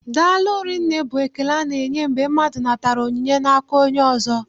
Daalụ rinne bụ ekele a na-enye mgbe mmadụ natara onyinye n'aka onye ọzọ.